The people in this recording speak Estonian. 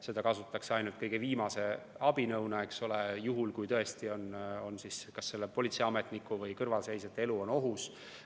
Seda kasutatakse ainult kõige viimase abinõuna, eks ole, juhul kui tõesti on kas politseiametniku või kõrvalseisjate elu ohus.